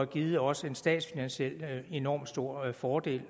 givet os en statsfinansielt set enormt stor fordel